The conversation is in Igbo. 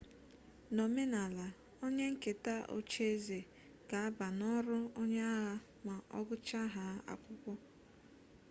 n'omenala onye nketa ocheeze ga aba n'ọrụ onye agha ma ọgụchahaa akwụkwọ